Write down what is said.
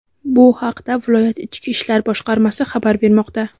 Bu haqda viloyat Ichki ishlar boshqarmasi xabar bermoqda.